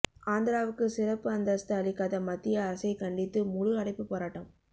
ஆந்திராவுக்கு சிறப்பு அந்தஸ்து அளிக்காத மத்திய அரசை கண்டித்து முழு அடைப்பு போராட்டம்